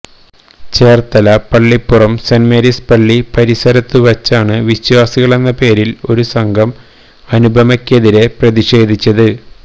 Cherthala Pallippuram saint Mary's പള്ളി പരിസരത്ത് വച്ചാണ് വിശ്വാസികളെന്ന പേരിൽ ഒരു സംഘം അനുപമയ്ക്കെതിരെ പ്രതിഷേധിച്ചത്